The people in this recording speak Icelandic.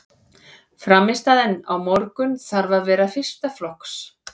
Frammistaðan á morgun þarf að vera fyrsta flokks.